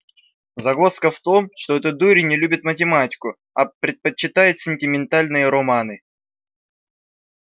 загвоздка в том что этот дурень не любит математику а предпочитает сентиментальные романы